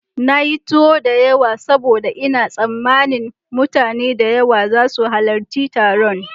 Na yi tuwo da yawa saboda ina tsammanin mutane da yawa za su halarci taron.